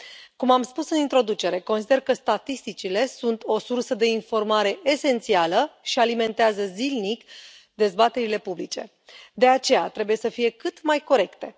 Cum am spus în introducere, consider că statisticile sunt o sursă de informare esențială și alimentează zilnic dezbaterile publice, de aceea trebuie să fie cât mai corecte.